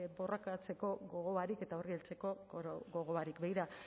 borrokatzeko gogo barik eta horri heltzeko gogo barik begira